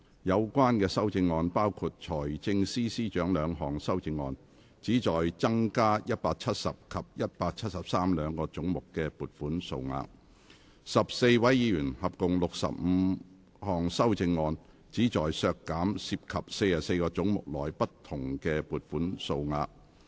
有關修正案包括：財政司司長兩項修正案，旨在增加170及173兩個總目的撥款數額；及14位議員合共65項修正案，旨在削減涉及44個總目內不同的撥款數額。